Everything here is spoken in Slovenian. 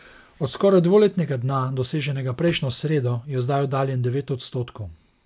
Od skoraj dvoletnega dna, doseženega prejšnjo sredo, je zdaj oddaljen devet odstotkov.